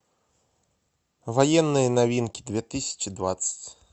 военные новинки две тысячи двадцать